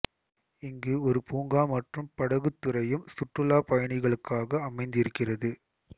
இங்கு ஒரு பூங்கா மற்றும் படகுத்துறையும் சுற்றுலா பயணிகளுக்காக அமைந்திருக்கிறது